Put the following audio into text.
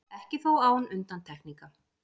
Ekki þó án undantekninga.